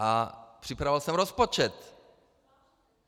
A připravoval jsem rozpočet.